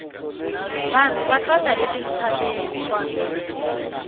vanhu va hlota etintshaveni